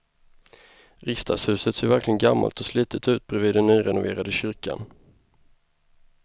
Riksdagshuset ser verkligen gammalt och slitet ut bredvid den nyrenoverade kyrkan.